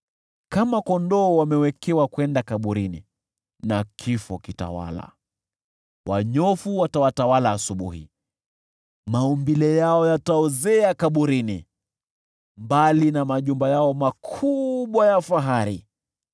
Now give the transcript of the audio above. Kama kondoo, wamewekewa kwenda kaburini, nacho kifo kitawala. Wanyofu watawatawala asubuhi, maumbile yao yataozea kaburini, mbali na majumba yao makubwa ya fahari.